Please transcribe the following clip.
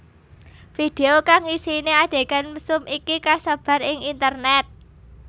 Video kang isiné adhegan mesum iki kasebar ing internét